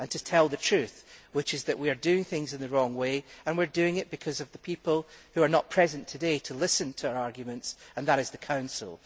We are telling the truth, which is that we are doing things in the wrong way and we are doing it because of the people who are not present today to listen to our arguments the representatives of the Council.